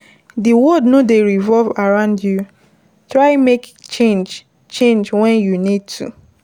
Di world no dey revolve around you, try make change change when you need to